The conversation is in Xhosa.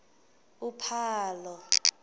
uphalo